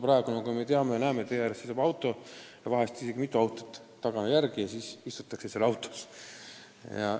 Praegu me näeme tihti, et tee ääres seisavad politseimasin ja mingi muu auto, vahel isegi mitu autot, ja muudkui istutakse seal.